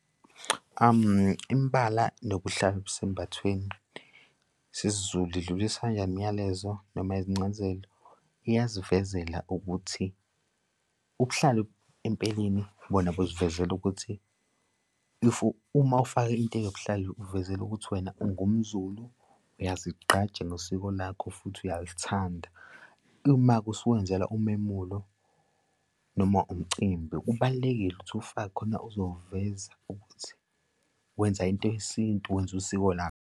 Imbala nokuhlala kubesembathweni sesiZulu idlulisa kanjani imyalezo noma izincazelo? Iyasivezela ukuthi ubuhlalu empeleni bona busivezela ukuthi, uma ufake into eyobuhlalu uvezela ukuthi wena ungumZulu, uyazigqaja nosiko lakho futhi uyalithanda. Uma-ke usuwenzela umemulo noma umcimbi, kubalulekile ukuthi ufake khona uzowuveza ukuthi wenza into yesintu wenza usiko lakho.